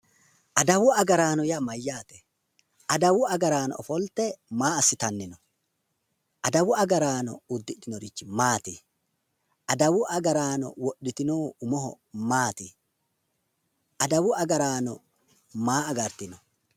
Adawu agaraano yaa mayyaate? Adawu agaraano ofolte maa assitanni no? Adawu agaraano uddidhinorichi Maati? Adawu agaraano widhitinohu umoho Maati? Adawu agaraano maa agartino?